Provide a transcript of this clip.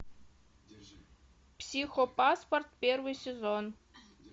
психопаспорт первый сезон